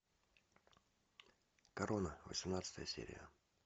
корона восемнадцатая серия